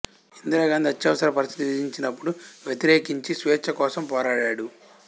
ఇందిరాగాంధి అత్యవసర పరిస్థితి విధించినప్పుడు వ్యతిరేకించి స్వేచ్ఛ కోసం పోరాడాడు